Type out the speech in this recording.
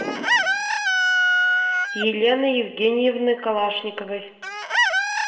елены евгеньевны калашниковой